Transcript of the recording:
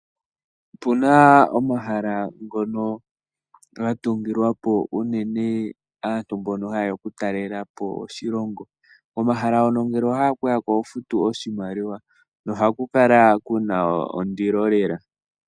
Opuna omahala ngono gatungilwapo unene aantu mbono ha yeya okutalelapo oshilongo. Komahala ngono ngele owa hala okuyako oho futu oshimaliwa nohaku kala kuna ondilo.